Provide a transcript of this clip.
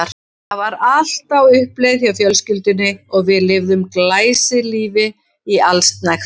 Það var allt á uppleið hjá fjölskyldunni og við lifðum glæsilífi í allsnægtum.